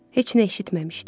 Heç nə eşitməmişdim.